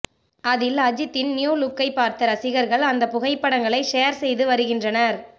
அதில் அஜித்தின் நியூ லுக்கை பார்த்த ரசிகர்கள் அந்த புகைப்ப்டங்களை ஷேர் செய்து வருகின்றனர்